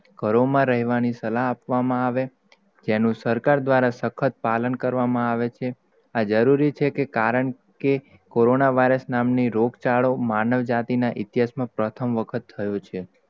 ઘરો માં રેહવાની સલાહ આપવામાં આવે, તેનુ, સરકાર દ્વારા સક્ખત પાલન કરવામાં આવે છે? આ જરૂરી છે? કે કારણ કે, કોરોના virus નામ ની રોગ ચાલો, માનવ જાતિ ની, ઇતિહાસ માં, પ્રથમ વખત થયું છે?